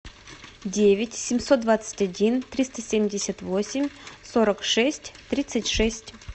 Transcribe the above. девять семьсот двадцать один триста семьдесят восемь сорок шесть тридцать шесть